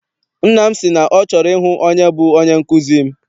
Nna m si na ọ chọrọ ịhụ onye bụ onye nkụzi m.